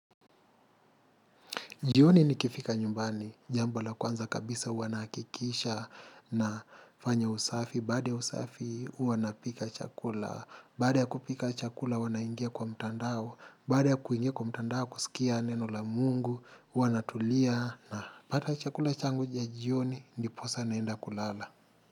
Jioni nikifika nyumbani, jambo la kwanza kabisa huwa nahakikisha na fanya usafi, baada usafi huwa napika chakula, baada kupika chakula huwa naingia kwa mtandao, baada ya kuingia kwa mtandao kusikia neno la mungu, huwa natulia na pata chakula changu cha jioni ndiposa naenda kulala.